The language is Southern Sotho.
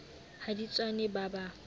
ha di tswane ba ba